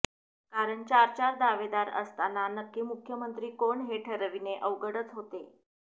कारण चार चार दावेदार असताना नक्की मुख्यमंत्री कोण हे ठरविणे अवघडच होते